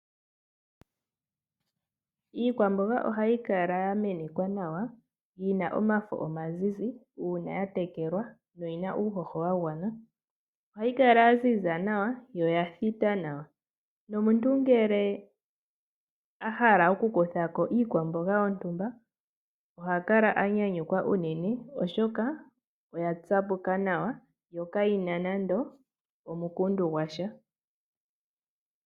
Iikwamboga oha yikala ya menekwa nawa, yina omafo omazizi uuna ya tekelwa no yina uuhoho wagwana, oha yikala yaziza nawa yo yathita nawa, nomuntu ngele ahala oku kuthako iikwamboga yontumba oha kala anyanyukwa unene oshoka oya tsapuka nawa yo kayina nando omukundu gwasha.